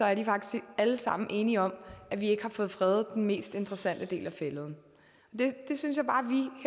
er de faktisk alle sammen enige om at vi ikke har fået fredet den mest interessante del af fælleden det synes jeg bare